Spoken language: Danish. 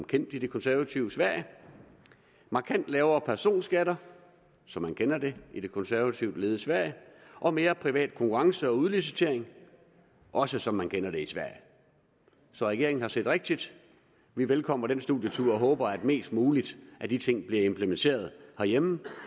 kendt i det konservative sverige markant lavere personskatter som man kender det i det konservativt ledede sverige og mere privat konkurrence og udlicitering også som man kender det i sverige så regeringen har set rigtigt vi velkommer den studietur og håber at mest muligt af de ting bliver implementeret herhjemme